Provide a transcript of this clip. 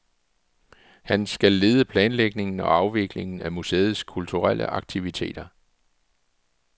Han skal lede planlægningen og afviklingen af museets kulturelle aktiviteter.